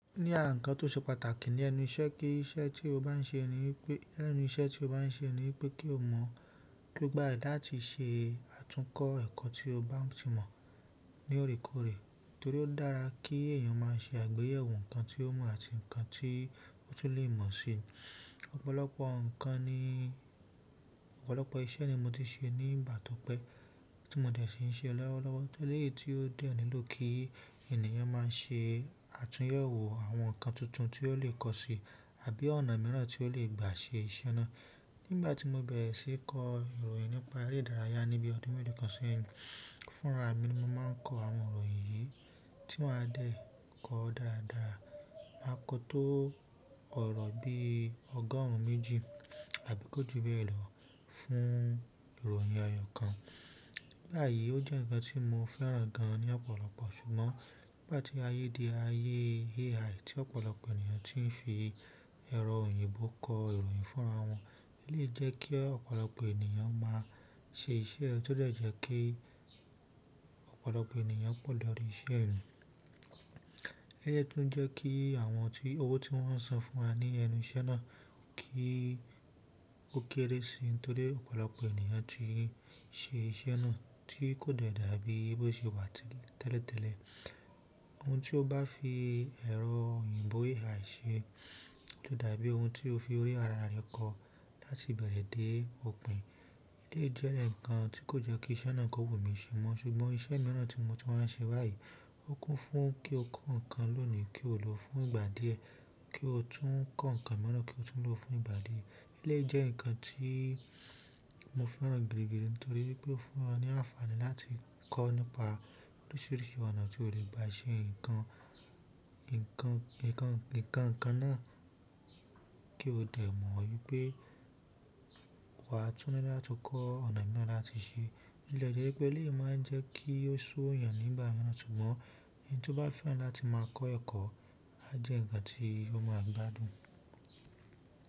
Ní ara nǹkan tó ṣe pàtàkì ni ẹnu iṣẹ́ kí iṣẹ́ tí o bá n ṣe ní pé, lẹ́nu iṣẹ́ tí o bá n ṣe ni pé kí o mọ, ki o gbàradi láti ṣe àtúnkọ ẹ̀kọ́ tí o bá ti mọ̀ ni orekore, torí o dára ki eyan ma se àgbéyẹ̀wò nǹkan ti o mo àti nǹkan to le mo si. Ọ̀pọ̀lọpọ̀ ǹkan ni, ọ̀pọ̀lọpọ̀ iṣẹ́ ni mo ti ṣe ní ìgbà tó pẹ́ tí mo dẹ̀ ṣi ń ṣe lọ́wọ́lọ́wọ́ torí pé tí ó de nílò kí ènìyàn má ṣe àtúnyẹ̀wò àwọn ǹkan tuntun tí ó lè kọ́ si àbí ọ̀nà mìíràn tí ó lè gbà ṣe iṣẹ́ náà. Nígbà tí mo bẹ̀rẹ̀ sí í kọ ìròyìn nípa ere idàrayà ní bí ọdún mẹ́ẹ̀lokan sẹ́yìn, fúnra mi mo máa ń kọ àwọn ìròyìn yìí tí màá dẹ̀ kọ dáradára. Màá kọ tó ọ̀rọ̀ bí ọgọ́rùn ún méjì àbí kò ju bẹ́ẹ̀ lọ fún ìròyìn eyọ̀ kan. Báyìí ó jẹ́ ǹkan tí mo fẹ́ràn gan ní ọ̀pọ̀lọpọ̀ ṣùgbọ́n nígbà tí ayé di ayé AI tí ọ̀pọ̀lọpọ̀ ènìyàn tí ń fi ẹ̀rọ òyìnbó kọ ìròyìn fúnra wọn, ẹ lé jẹ́ kí ọ̀pọ̀lọpọ̀ ènìyàn má ṣe iṣẹ́ ẹ tó de jẹ́ kí ọ̀pọ̀lọpọ̀ ènìyàn pọ̀ lọ́ri iṣẹ́ mi. E lé jẹ́ tó ń jẹ́ kí àwọn tí owó tí wọ́n san fún wa ní ẹnu iṣẹ́ náà kí ó kéré si torí ọ̀pọ̀lọpọ̀ ènìyàn tí n ṣe iṣẹ́ náà tí kò de dàbí bó ṣe wà tẹ́lẹ̀tẹ́lẹ̀. Ohun tí o bá fi ẹ̀rọ òyìnbó AI ṣe ò da dàbí ohun tí o fi orí ara rẹ̀ kọ láti bẹ̀rẹ̀ dé òpin. Eleyi je nǹkan ti ko je ki iṣẹ́ náà ko wu mi se mo, ṣùgbọ́n iṣẹ́ miran ti mo tun wa n se bayi ó kún fún kí o kọ́ nǹkan lónìí kí o lò ó fún ìgbà díẹ̀ kí o tún kọ́ nǹkan mìíràn kí o tún lò ó fún ìgbà díẹ̀. E lé jẹ́ nǹkan tí mo fẹ́ràn gidi nítorí pé ó fún ọ ní àǹfààní láti kọ́ nípa oríṣiríṣi ọ̀nà tí o lè gbà ṣe nǹkan, nǹkan, nǹkan, nǹkan náà kí o dẹ̀ mọ̀ wípé wa tún ní láti kọ́ ọ̀nà mìíràn láti ṣe. E lé jẹ́ wípé eleyi má ń jẹ́ kí ó ṣu eyàn nígbà mìíràn ṣùgbọ́n ẹni tí ó bá fẹ́ràn láti má kọ́ ẹ̀kọ́ a jẹ́ nǹkan tí ó máa gbádùn.